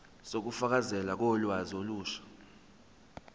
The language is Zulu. zokufakelwa kolwazi olusha